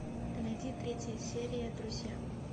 найди третья серия друзья